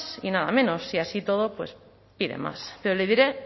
y nada menos y así y todo pues pide más pero le diré